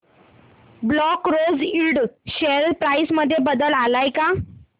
black Rose Ind share price मध्ये बदल आलाय का